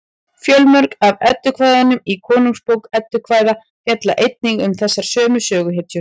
fjölmörg af eddukvæðunum í konungsbók eddukvæða fjalla einnig um þessar sömu söguhetjur